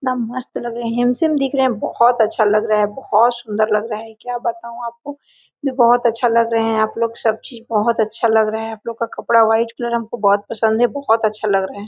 कितना मस्त लग रहे है हेंडसम दिख रहे है बहोत अच्छा लग रहा है बहोत सुन्दर लग रहा है क्या बताऊ आपको मैं बहोत अच्छा लग रहे है आपलोग सबचीज बहोत अच्छा लग रहा है आपलोग का कपड़ा वाइट कलर हमको बहोत पसंद है बहोत अच्छा लग रहा है।